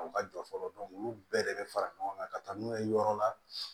U ka jɔ fɔlɔ olu bɛɛ de bɛ fara ɲɔgɔn kan ka taa n'u ye yɔrɔ la